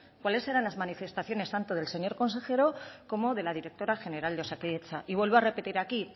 cuáles eran las manifestaciones tanto del señor consejero como de la directora general de osakidetza y vuelvo a repetir aquí y